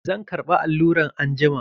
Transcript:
Zan ƙarba alluran anjima.